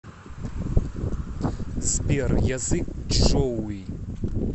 сбер язык чжоуи